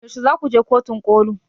Yaushe zaku je kotun ƙoli?